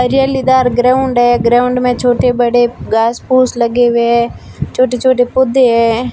जलिदार ground है ground में छोटे बड़े घास फूस हुए लगे है हुए छोटे छोटे पौधे है।